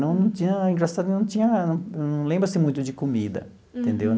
Não não tinha... engraçado, não tinha... não lembro assim muito de comida, entendeu?